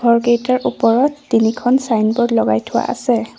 ঘৰকেইটাৰ ওপৰত তিনিখন চাইনবোৰ্ড লগাই থোৱা আছে।